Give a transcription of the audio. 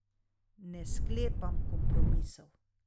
Ne sklepam kompromisov.